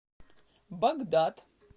багдад